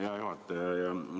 Hea juhataja!